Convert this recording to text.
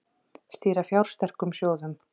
Stýra fjársterkum sjóðum